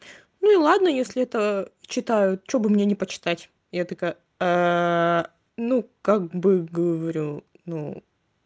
ну и ладно если это читают чтобы мне почитать я такая ну как бы говорю ну